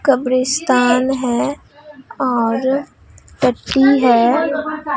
कब्रिस्तान है और टट्टी है।